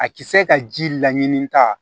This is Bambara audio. A ti se ka ji laɲini ka